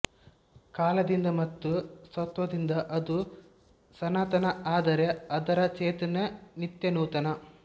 ಕಾಲದಿಂದ ಮತ್ತು ಸತ್ತ್ವದಿಂದ ಅದು ಸನಾತನ ಆದರೆ ಅದರ ಚೇತನ ನಿತ್ಯನೂತನ